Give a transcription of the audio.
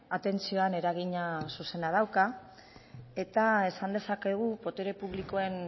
atentzioan eragina zuzena dauka eta esan dezakegu botere publikoen